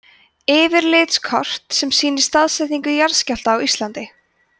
yfirlitskort sem sýnir staðsetningu jarðskjálfta á íslandi